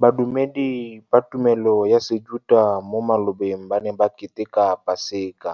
Badumedi ba tumelo ya Sejuta mo malobeng ba ne ba keteka Paseka,